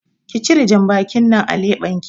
Ki cire janbakin nan a leɓenki